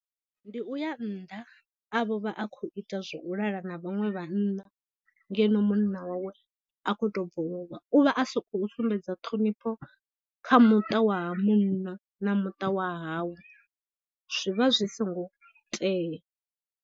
Ndi u ya nnḓa a vho vha a khou ita zwa u lala na vhaṅwe vhanna ngeno munna wawe a khou tou bva u lovha u vha a sokou sumbedza ṱhonifho kha muṱa wa ha munna na muṱa wa hawe zwi vha zwi songo tea.